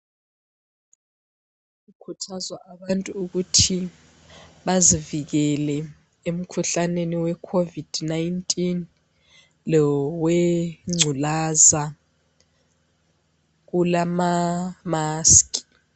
Kukhuthazwa abantu ukuthi bazivikele emkhuhlaneni weCovid 19 lowengculaza. Kulamamask.